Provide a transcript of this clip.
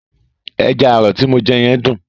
Ẹja àrọ̀ ti mo jẹ yẹn dùn.